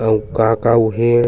अऊ का का उहे --